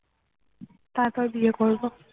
তারপর বিয়ে করবো